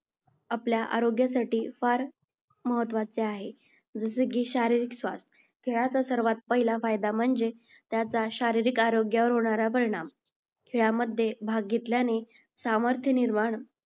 आपल्या आरोग्यासाठी फार महत्त्वाचे आहे. जसे की शारीरिक स्वास्थ्य. खेळाचा सर्वात पहिला फायदा म्हणजे त्याचा शारीरिक आरोग्यावर होणारा परिणाम. खेळामध्ये भाग घेतल्याने सामर्थ्य निर्माण